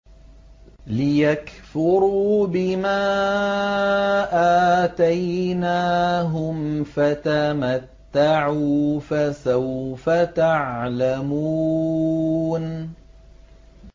لِيَكْفُرُوا بِمَا آتَيْنَاهُمْ ۚ فَتَمَتَّعُوا فَسَوْفَ تَعْلَمُونَ